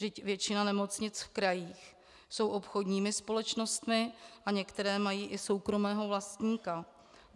Vždyť většina nemocnic v krajích jsou obchodními společnostmi a některé mají i soukromého vlastníka.